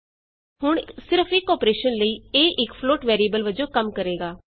ਹੁਣ ਇਕ ਸਿਰਫ ਇਕ ਅੋਪਰੇਸ਼ਨ ਲਈ a ਇਕ ਫਲੋਟ ਵੈਰੀਏਬਲ ਵਜੋਂ ਕੰਮ ਕਰੇਗਾ